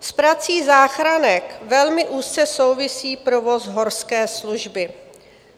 S prací záchranek velmi úzce souvisí provoz Horské služby.